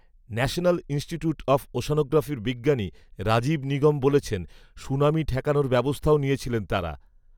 ‘national institute of ওশ্যানোগ্রাফি’র বিজ্ঞানী রাজীব নিগম বলেছেন, ‘‘সুনামি ঠেকানোর ব্যবস্থাও নিয়েছিলেন তাঁরা"